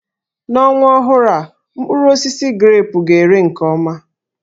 N'ọnwa ọhụrụ a, mkpụrụ osisi grepụ ga-ere nke ọma